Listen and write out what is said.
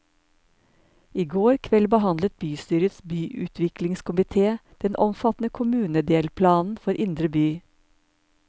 I går kveld behandlet bystyrets byutviklingskomité den omfattende kommunedelplanen for indre by.